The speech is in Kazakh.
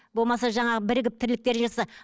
болмаса жаңағы бірігіп тірліктер жасаса